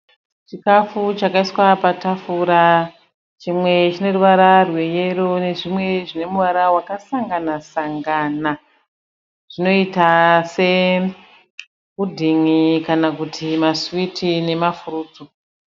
Chikafu chakaiswa patafura, chmwe chine ruvara rwe yero nezvimwe zvine muvara wakasangana sangana, zvinoita se pudhin`i kana kuti maswiti nemafurutsu.